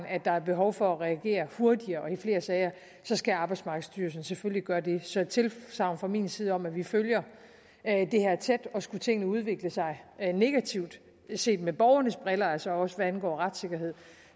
at der er behov for at reagere hurtigere og i flere sager så skal arbejdsmarkedsstyrelsen selvfølgelig gøre det så et tilsagn fra min side om at vi følger det her tæt og skulle tingene udvikle sig negativt set med borgernes briller altså også hvad angår retssikkerhed